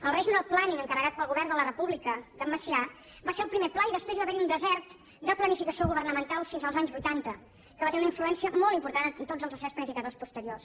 el regional planning encarregat pel govern de la república d’en macià va ser el primer pla i després va haverhi un desert de planificació governamental fins als anys vuitanta que va tenir una influència molt important en tots els assaigs planificadors posteriors